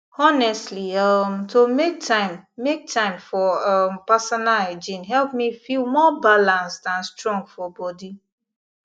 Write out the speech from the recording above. honestly um to make time make time for um personal hygiene help me feel more balanced and strong for body